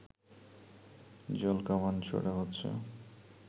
জলকামান ছোড়া হচ্ছে